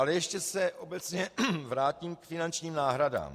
Ale ještě se obecně vrátím k finančním náhradám.